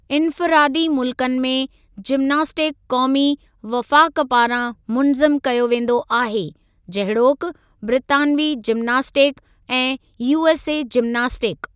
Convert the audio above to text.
इन्फ़िरादी मुल्कनि में, जिमनास्टिक क़ौमी वफ़ाक़ पारां मुनज़्ज़म कयो वेंदो आहे, जहिड़ोकि ब्रितानवी जिमनास्टिक ऐं यूएसए जिमनास्टिक।